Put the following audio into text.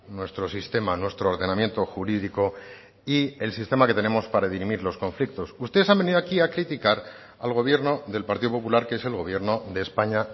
nuestro sistema nuestro ordenamiento jurídico y el sistema que tenemos para dirimir los conflictos ustedes han venido aquí a criticar al gobierno del partido popular que es el gobierno de españa